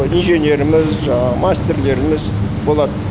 инженеріміз жаңағы мастерлеріміз болады